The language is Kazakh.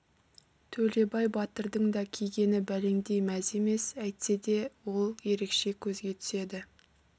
төлебай батырдың да кигені бәлендей мәз емес әйтсе де ол ерекше көзге түседі